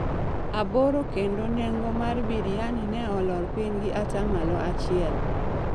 aboro kendo nengo mar Biriani ne olor piny gi atamalo achiel.